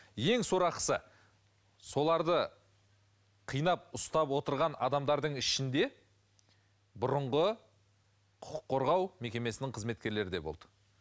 ең сорақысы соларды қинап ұстап отырған адамдардың ішінде бұрынғы құқық қорғау мекемесінің қызметкерлері де болды